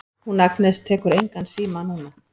Hún Agnes tekur engan síma núna.